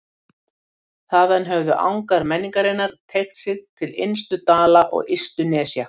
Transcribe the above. Þaðan höfðu angar menningarinnar teygt sig til innstu dala og ystu nesja.